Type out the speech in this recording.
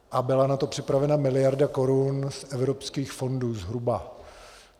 A byla na to připravena miliarda korun z evropských fondů, zhruba.